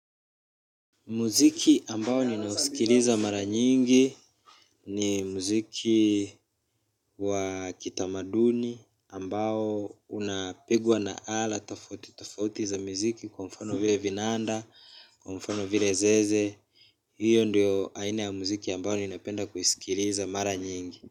Muziki ambao ninausikiliza mara nyingi ni muziki wa kitamaduni ambao unapigwa na ala tofauti tofauti za muziki kwa mfano vile vinanda kwa mfano vile zeze hiyo ndiyo aina ya muziki ambao ninaipenda kuisikiliza mara nyingi.